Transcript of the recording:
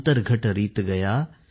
अंतर्घट रीत गया